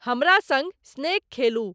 हमरा सँग स्नेक खेलु